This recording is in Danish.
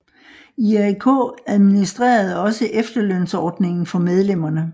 IAK administrerede også efterlønsordningen for medlemmerne